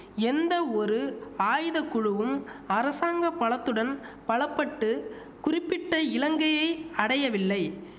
எந்த ஒரு ஆயுத குழுவும் அரசாங்க பலத்துடன் பலப்பட்டு குறிப்பிட்ட இலங்கையை அடையவில்லை